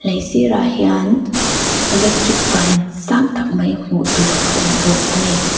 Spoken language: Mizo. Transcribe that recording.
lei sir ah hian electric ban sang tak mai hmuh tur a awm bawk a ni.